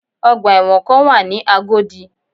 Ọgbà ẹ̀wọ̀ kan wà ní Agodi